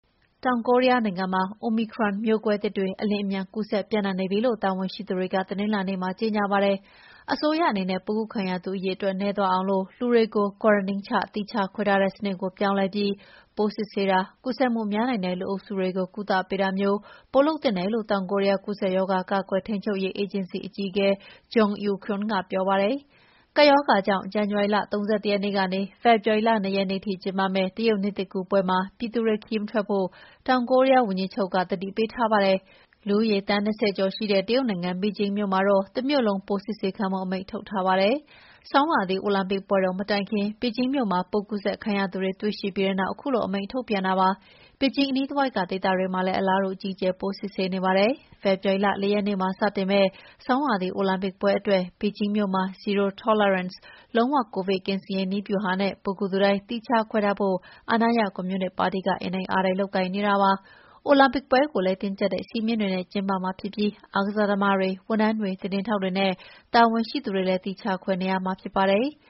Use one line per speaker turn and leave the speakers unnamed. တောင်ကိုရီးယားနိုင်ငံမှာ Omicron ကိုဗစ်မျိုးကွဲသစ်တွေ အလျင်အမြန် ကူးစက်ပြန့်နှံ့နေပြီလို့ တာဝန်ရှိသူတွေ တနင်္လာနေ့မှာ ကြေငြာပါတယ်။ အစိုးရအနေနဲ့ ပိုးကူးခံရသူအရေအတွက်နည်းသွားအောင် လူတွေကို quarantine ချ သီးခြားခွဲထားတဲ့စနစ်ကို ပြောင်းလဲပြီး ပိုးစစ်ဆေးတာ၊ ကူးစက်မှုများနိုင်တဲ့လူအုပ်စုတွေကို ကုသပေးတာမျိုး လုပ်သင့်တယ်လု့ိ တောင်ကိုရီးယား ကူးစက်ရောဂါကာကွယ်ထိန်းချုပ်ရေးအေဂျင်စီ အကြီးအကဲ Jeong Eun-kyung က ပြောပါတယ်။ ကပ်ရောဂါကြောင့် ဇန်နဝါရီ ၃၁ ရက်နေ့ကနေ ဖေဖော်ဝါရီလ ၂ ရက်နေ့ထိကျင်းပမယ့် တရုတ်နှစ်သစ်ကူးပွဲမှာ ပြည်သူတွေ ခရီးမထွက်ဖို့ တောင်ကိုရီးယား ဝန်ကြီးချုပ်အမိန့်နဲ့ တားမြစ်ထားပါတယ်။ လူဦးရေ သန်း ၂၀ကျော်ရှိတဲ့ တရုတ်နိုင်ငံဘေဂျင်းမြို့မှာတော့ တမြို့လုံး ပိုးစစ်ဆေးခံဖို့ အမိန့်ထုတ်ထားပါတယ်။ ဆောင်းရာသီအိုလံပစ်ပွဲတော်မတိုင်မီ ဘေဂျင်းမြို့မှာ ပိုးကူးစက်ခံထားသူတွေ တွေ့ရှိပြီးတဲ့နောက်ခုလို အမိန့်ထုတ်ပြန်တာပါ။ ဘေဂျင်းအနီးတဝိုက်ဒေသတွေမှာလည်း အလားတူ အကြီးအကျယ် ပိုးစစ်ဆေးနေပါတယ်။ ဖေဖော်ဝါရီလ ၄ ရက်နေ့မှာစတင်မယ့် ဆောင်းရာသီအိုလံပစ်ပွဲအတွက် ဘေဂျင်းမြို့မှာ ” zero tolerance “ လုံးဝကိုဗစ်ကင်းစင်ရေးနည်းဗျူဟာနဲ့ ပိုးကူးသူတိုင်း သီးခြားခွဲထားဖို့ အာဏာရ ကွန်မြူနစ်ပါတီက အင်တိုက်အားတိုက်လုပ်ကိုင်နေတာပါ။ အိုလံပစ်ပွဲကိုလည်း တင်းကြပ်တဲ့စည်းမျဉ်းတွေနဲ့ကျင်းပမှာဖြစ်ပြီး အားကစားသမားတွေ၊ ဝန်ထမ်းတွေ၊ သတင်းထောက်တွေနဲ့ တာဝန်ရှိသူတွေလည်း သီးခြားခွဲနေရမှာဖြစ်ပါတယ်။